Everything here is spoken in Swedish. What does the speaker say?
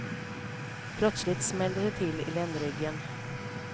Plötsligt smällde det till i ländryggen.